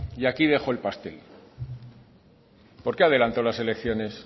y aquí dejó el pastel por qué adelantó las elecciones